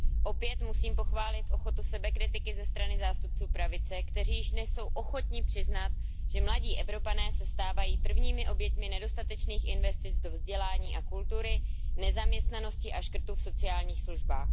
Opět musím pochválit ochotu sebekritiky ze strany zástupců pravice, kteří jsou již dnes ochotni přiznat, že mladí Evropané se stávají prvními oběťmi nedostatečných investic do vzdělání a kultury, nezaměstnanosti a škrtů v sociálních službách.